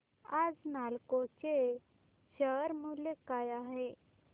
आज नालको चे शेअर मूल्य काय आहे